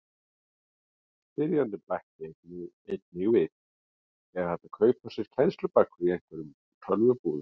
Spyrjandi bætir einnig við: Er hægt að kaupa sér kennslubækur í einhverjum tölvubúðum?